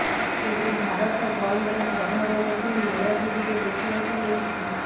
ତେବେ ଭାରତ ବନ୍ଦର ପ୍ରଭାବ ମଧ୍ୟ ନୀଳଗିରିରେ ଦେଖିବାକୁ ମିଳିଛି